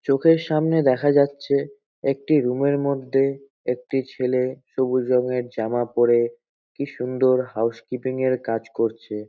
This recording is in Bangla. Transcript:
চোখের সামনে দেখা যাচ্ছে একটি রুম -এর মধ্যে একটি ছেলে সবুজ রংয়ের জামা পরে কি সুন্দর হাউসকিপিং -এর কাজ করছে।